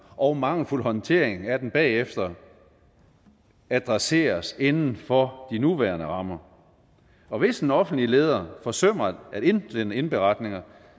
og mangelfuld håndtering af det bagefter adresseres inden for de nuværende rammer og hvis en offentlig leder forsømmer at indsende indberetninger